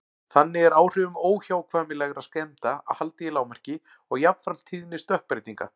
Þannig er áhrifum óhjákvæmilegra skemmda haldið í lágmarki og jafnframt tíðni stökkbreytinga.